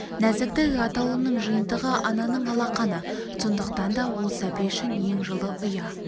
нәзіктік атаулының жиынтығы ананың алақаны сондықтан да ол сәби үшін ең жылы ұя